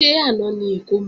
Ṣé àná ni ìkómọ?